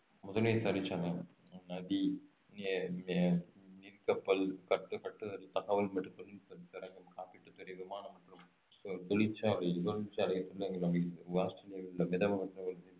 முதன்மை தொழிற்சங்கம் நதி கப்பல் கட்டு கட்டுதல் தகவல் மற்றும் தொழில்நுட்பம் சுரங்கம் காப்பீட்டுத்துறை விமானம் தொழிற்சாலை